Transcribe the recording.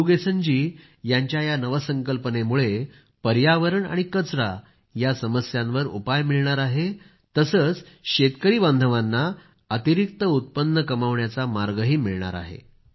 मुरूगेसनजी यांच्या या नवसंकल्पनेमुळे पर्यावरण आणि कचरा यांच्या समस्येवर उपाय मिळणार आहे तसंच शेतकरी बांधवांना अतिरिक्त उत्पन्न कमावण्याचा मार्गही मिळणार आहे